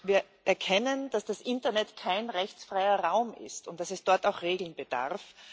Wir erkennen, dass das Internet kein rechtsfreier Raum ist und dass es dort auch Regeln bedarf.